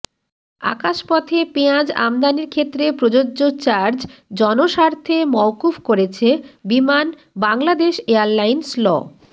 আকাশপথে পেঁয়াজ আমদানির ক্ষেত্রে প্রযোজ্য চার্জ জনস্বার্থে মওকুফ করেছে বিমান বাংলাদেশ এয়ারলাইন্স ল